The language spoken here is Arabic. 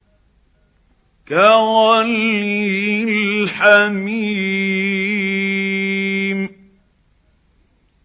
كَغَلْيِ الْحَمِيمِ